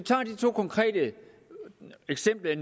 to konkrete eksempler i